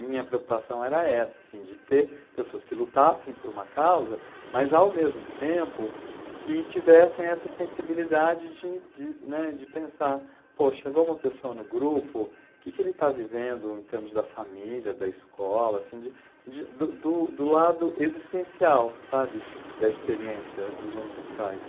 Minha preocupação era essa, assim, de ter pessoas que lutassem por uma causa, mas ao mesmo tempo que tivessem essa sensibilidade de de, né, de pensar, pô, chegou uma pessoa no grupo, o que que ele está vivendo em termos da família, da escola, assim de do do lado existencial, sabe? Da experiência dos homossexuais.